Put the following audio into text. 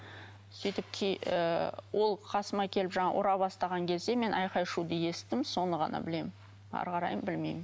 сөйтіп ы ол қасыма келіп жаңағы ұра бастаған кезде мен айқай шуды естідім соны ғана білемін әрі қарай білмеймін